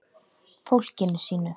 Fólkinu sínu.